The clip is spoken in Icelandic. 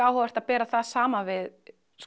áhugavert að bera það saman við